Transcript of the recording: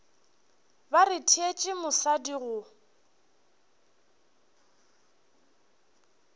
ba re tšeetše mosadi go